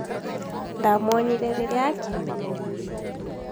ndamuonire rĩrĩa akinyire